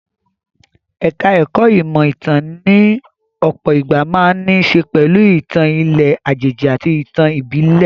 Ẹ̀ka ẹ̀kó ìmọ̀ ìtàn ní ọ̀pọ̀ ìgbà máa ń ní í ṣe pẹ̀lú ìtàn ilẹ̀ àjèjì àti ìtàn ìbílè.